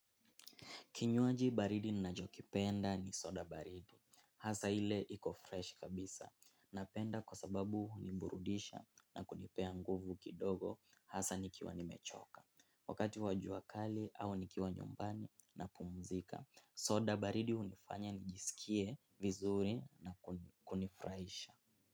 Kinywaji baridi ninachokipenda ni soda baridi, hasa ile iko fresh kabisa, napenda kwa sababu huniburudisha na kunipea nguvu kidogo hasa nikiwa nimechoka. Wakati wa jua kali au nikiwa nyumbani napumuzika, soda baridi unifanya nijisikie vizuri na kunifuraisha.